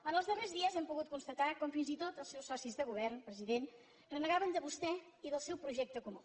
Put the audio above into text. en els darrers dies hem pogut constatar com fins i tot els seus socis de govern president renegaven de vostè i del seu projecte comú